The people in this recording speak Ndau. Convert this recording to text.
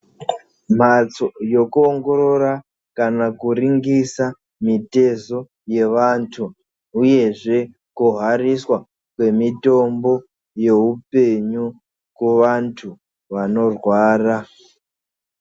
Mhatso yekuongorora kana kuringisa mitezo yevantu uyezve kuhariswa kwemitombo yeupenyu kuvantu vanorwara.